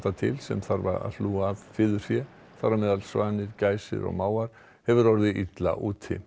til sem þarf að hlúa að fiðurfé þar á meðal svanir gæsir og mávar hefur orðið illa úti